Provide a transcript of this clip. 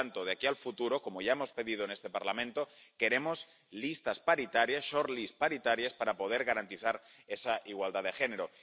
Por lo tanto, de aquí al futuro, como ya hemos pedido en este Parlamento, queremos listas paritarias shortlists paritarias— para poder garantizar esa igualdad de género.